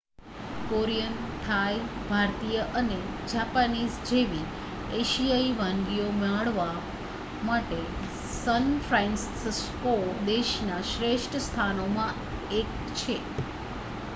Korean Thai ભારતીય અને Japanese જેવી એશિયાઈ વાનગીઓ માણવા માટે સૅન ફ્રાન્સિસકો દેશના શ્રેષ્ઠ સ્થાનોમાંનું એક છે